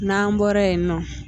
Na'an bɔra yen nɔ.